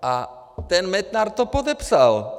A ten Metnar to podepsal!